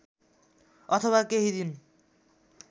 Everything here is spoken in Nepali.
अथवा केही दिन